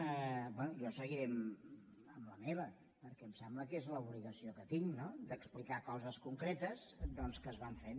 bé jo seguiré amb la meva perquè em sembla que és l’obligació que tinc d’explicar coses concretes que es van fent